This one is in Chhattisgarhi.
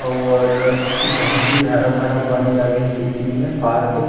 और बहुत ही हरा भरा बन जागे हे कृत्रिम में पार्क हे।